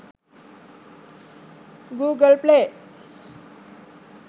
google play